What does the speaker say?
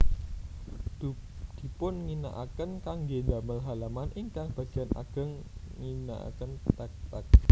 Dipunginaaken kangge ndamel halaman ingkang bagian ageng ngginaaken tag tag